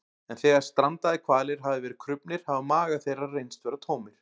En þegar strandaðir hvalir hafa verið krufnir hafa magar þeirra reynst vera tómir.